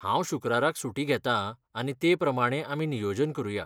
हांव शुक्राराक सुटी घेता आनी ते प्रमाणें आमी नियोजन करुया.